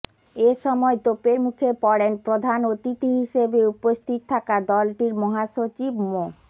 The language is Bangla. এ সময় তোপের মুখে পড়েন প্রধান অতিথি হিসেবে উপস্থিত থাকা দলটির মহাসচিব মো